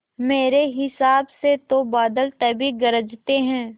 मेरे हिसाब से तो बादल तभी गरजते हैं